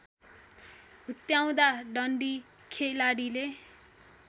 हुत्याउँदा डन्डी खेलाडीले